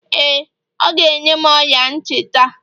ee, ọ ga-enye m ọla ntị taa